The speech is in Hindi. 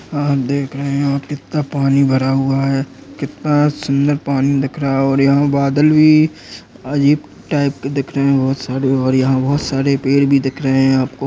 देख रहे है कित्ता पानी भरा हुआ है। कितना सुन्दर पानी दिख रहा है और यहा बदल भी अजीब टाइप के दिख रहे है। बहुत सारे और यहा बहुत सारे पेड़ भी दिख रहे है आपको --